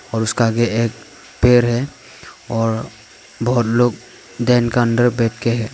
और उसका आगे एक पेड़ है और बहुत लोग दिन का अंदर बैठ के हैं।